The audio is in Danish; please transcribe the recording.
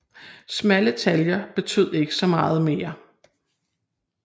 Smalle taljer betød ikke så meget mere